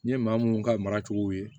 N ye maa minnu ka mara cogo ye